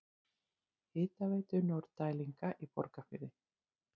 Hitaveitu Norðdælinga í Borgarfirði.